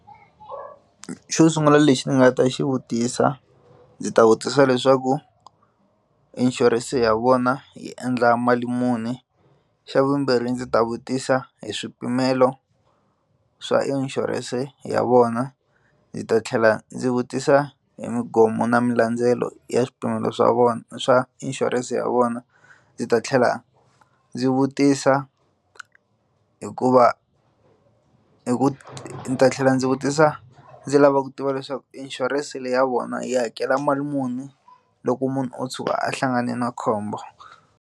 Xo sungula lexi ni nga ta xi vutisa ndzi ta vutisa leswaku inshurense ya vona yi endla mali muni xa vumbirhi ndzi ta vutisa hi swipimelo swa inshurense ya vona ndzi ta tlhela ndzi vutisa hi na milandzelo ya swipimelo swa vona swa inshurense ya vona ndzi ta tlhela ndzi vutisa hikuva hi ku ni ta tlhela ndzi vutisa ndzi lava ku tiva leswaku inshurense leyi ya vona yi hakela mali muni loko munhu o tshuka a hlangane na khombo.